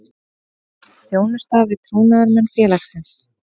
Þjónusta við trúnaðarmenn félagsins.